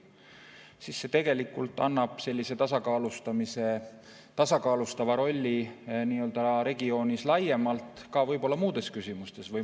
See tegelikult mängib sellist tasakaalustavat rolli regioonis laiemalt võib-olla ka muudes küsimustes.